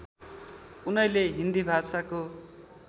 उनैले हिन्दी भाषाको